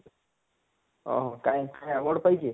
ହଁ କାଏଁ କାଏଁ award ପାଇଛେ,